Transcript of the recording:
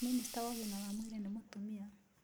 Minista wa ũgima wa mwĩrĩ nĩ mũtumia.